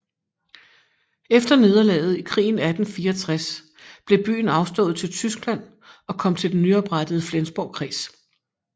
Efter nederlaget i krigen 1864 blev byen afstået til Tyskland og kom til den nyoprettede Flensborg kreds